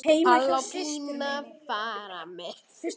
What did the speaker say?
Palli og Pína fara með.